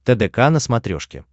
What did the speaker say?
тдк на смотрешке